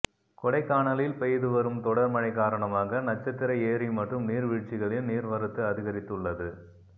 கொடைக்கானலில் பெய்து வரும் தொடர் மழை காரணமாக நட்சத்திர ஏரி மற்றும் நீர் வீழ்ச்சிகளில் நீர்வரத்து அதிகரித்துள்ளது